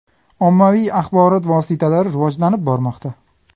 Ommaviy axborot vositalari rivojlanib bormoqda.